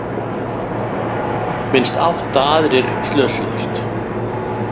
Minnst átta aðrir slösuðust